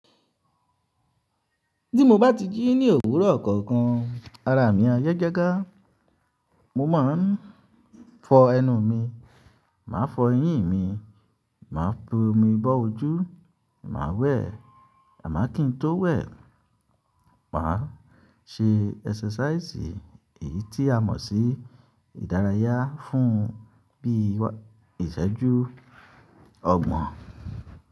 Tí mo bá ti jí ní òwúrọ̀ kookan ara mi ayagagá, mo máa ń fọ ẹnu mi, màá fọ eyín mi, màá f'omi bọ́ ojú, màá wẹ̀ àmọ́ kí n tó wẹ̀, màá ṣe ẹ́sẹ́sàísì èyí tí a mọ̀ sí ìdárayá fún bí iṣẹ́jú ọgbọ̀n.